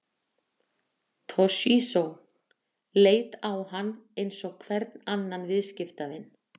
Toshizo leit á hann eins og hvern annan viðskiptavin.